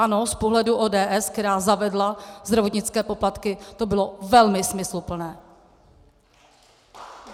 Ano z pohledu ODS, která zavedla zdravotnické poplatky, to bylo velmi smysluplné.